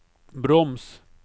broms